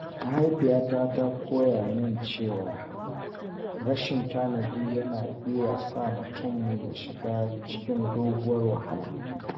Mahaifiyata ta koya min cewa rashin tanadi yana iya sa mutum ya shiga cikin doguwar wahala.